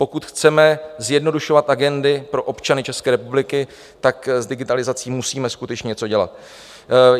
Pokud chceme zjednodušovat agendy pro občany České republiky, tak s digitalizací musíme skutečně něco dělat.